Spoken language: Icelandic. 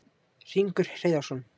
Hringur Hreiðarsson,